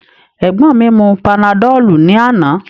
Egbọn mi mu panadolu ni ana.